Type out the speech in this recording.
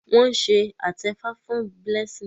Wón se atefa fún Blessing.